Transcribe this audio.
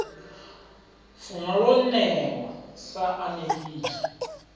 funwa lo newa sa anekidzha